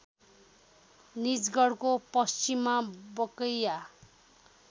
निजगढको पश्चिममा बकैया